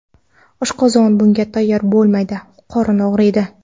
Oshqozon bunga tayyor bo‘lmaydi, qorin og‘riydi.